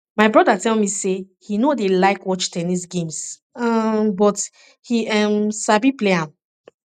my broda tell me say he no dey like watch ten nis games um but he um sabi play am